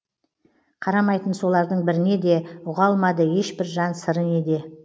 қарамайтын солардың біріне де ұға алмады ешбір жан сыры неде